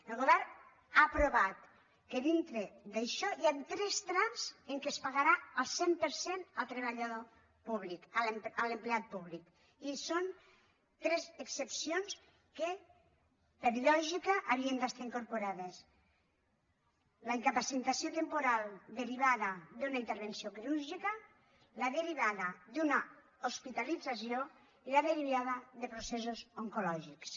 el govern ha aprovat que dintre d’això hi han tres trams en què es pagarà el cent per cent al treballador públic a l’empleat públic i són tres excepcions que per lògica havien d’estar incorporades la incapacitació temporal derivada d’una intervenció quirúrgica la derivada d’una hospitalització i la derivada de processos oncològics